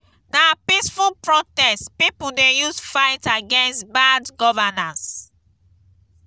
na peaceful protest pipo dey use fight against bad governance.